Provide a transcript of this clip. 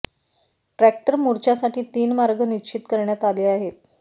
tractor मोर्चासाठी तीन मार्ग निश्चित करण्यात आले आहेत